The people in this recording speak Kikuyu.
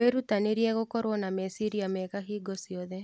Wĩrutanĩrie gũkorwo na meciria mega hingo ciothe.